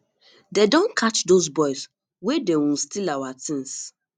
dey don catch those boys wey dey um steal our things